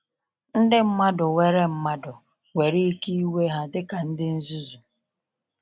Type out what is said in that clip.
Ndị mmadụ were mmadụ were ike iwee ha dịka ndị nzuzu.